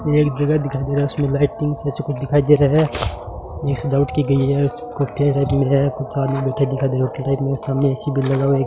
एक जगह दिखाई दे रहा उसमें लाइटिंग सा कुछ दिखाई दे रहा है ये सजावट की गई है कुछ आदमी बैठे दिखाई दे रहे हैं होटल टाइप में सामने ए_सी भी लगा हुआ है ए--